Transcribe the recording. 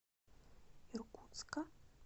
иркутска